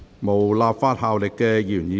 無立法效力的議員議案。